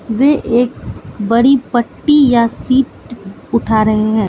वे एक बड़ी पट्टी या सीट उठा रहे हैं।